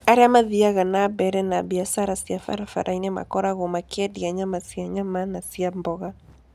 Arĩa mathiaga na mbere na biacara barabara-inĩ makoragwo makĩendia nyama cia nyama na cia mboga.